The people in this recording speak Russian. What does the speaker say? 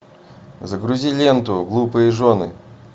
загрузи ленту глупые жены